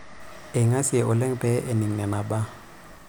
Eingasie oleng' pee ening' nena baa.